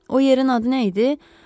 O yerin adı nə idi?